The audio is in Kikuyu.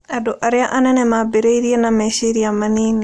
Andũ arĩa anene maambĩrĩirie na meciria manini.